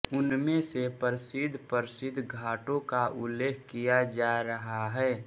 उनमें से प्रसिद्धप्रसिद्ध घाटों का उल्लेख किया जा रहा है